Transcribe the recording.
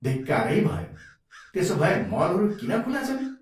धिक्कारै भयो! त्यसोभए मलहरू किन खुला छन्?